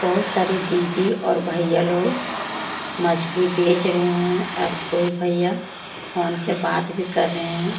बहुत सारी दीदी और भैया लोग मछली बेच रहे हैं और कोई भैया फोन से बात भी कर रहे हैं।